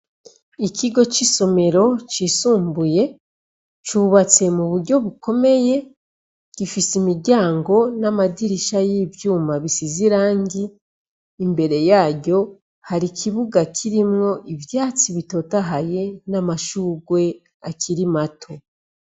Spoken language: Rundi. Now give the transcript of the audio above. Ikigo c'isomero cisumbuye, cubatse mu buryo bukomeye. Gifise imiryango n'amadirisha y'ivyuma bisize irangi. Imbere yaryo hari ikibuga kirimwo ivyatsi bitotahaye n'amashurwe akiri mato.